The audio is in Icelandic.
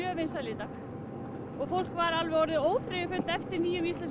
vinsæl í dag og fólk var alveg orðið óþreyjufullt eftir nýjum íslenskum